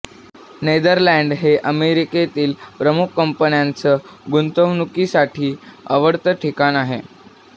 Netherland हे अमेरिकेतील प्रमुख कंपन्यांचं गुंतवणुकीसाठी आवडतं ठिकाण आहे